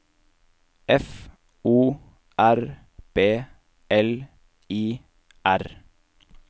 F O R B L I R